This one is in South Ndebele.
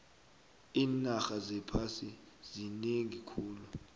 iinarha zephasi zinengi khulu